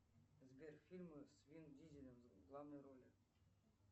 сбер фильмы с вин дизелем в главной роли